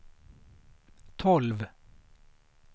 tolv